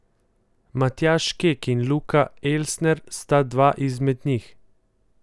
Matjaž Kek in Luka Elsner sta dva izmed njih.